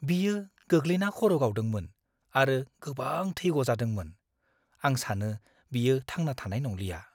बियो गोग्लैना खर' गावदोंमोन आरो गोबां थै गजादोंमोन। आं सानो बियो थांना थानाय नंलिया।